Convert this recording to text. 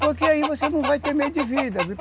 Porque aí você não vai ter meio de vida.